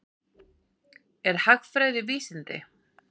Er hagfræði vísindi?